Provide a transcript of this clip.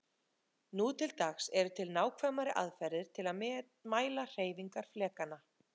Nú til dags eru til nákvæmari aðferðir til að mæla hreyfingar flekanna.